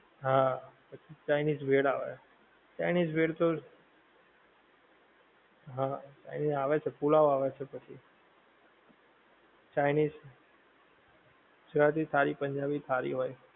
હા પછી chinese bhel આવે chinese bhel તો, હા આવે છે પુલાવ આવે છે પછી, chinese, ગુજરાતી થાળી પંજાબી થાળી હોએ